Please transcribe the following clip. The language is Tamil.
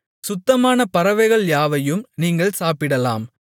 சுத்தமான பறவைகள் யாவையும் நீங்கள் சாப்பிடலாம்